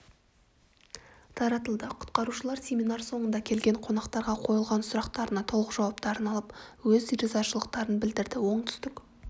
таратылды құтқарушылар семинар соңында келген қонақтарға қойылған сұрақтарына толық жауаптарын алып өз ризашылықтарын білдірді оңтүстік